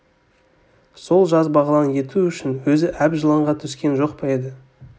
сол жас бағлан еті үшін өзі әп жыланға түскен жоқ па еді